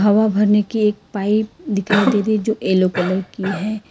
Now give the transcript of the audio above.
हवा भरने की एक पाइप दिखाई दे रही जो येलो कलर की है।